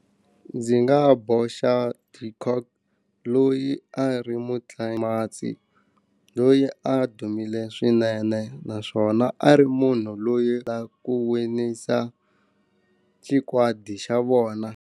Ndzi nga boxa de kock loyi a ri mutlangi loyi a dumile swinene naswona a ri munhu loyi wa ku winisa xikwadi xa vona.